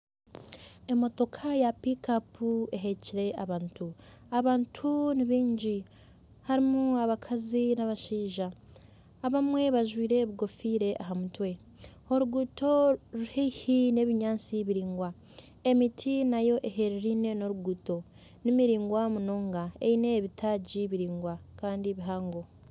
Emotoka ya pikapu eheekire abantu. Abantu ni baingi harimu abakazi n'abashaija abamwe bajwaire ebikofiira aha mutwe. Oruguuto ruri haihi n'ebinyatsi biraingwa. Emiti nayo ehereraine n'oruguuto. Ni miraingwa munonga eine ebitaagi biraingwa kandi bihango.